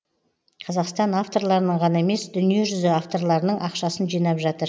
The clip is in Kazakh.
қазақстан авторларының ғана емес дүниежүзі авторларының ақшасын жинап жатыр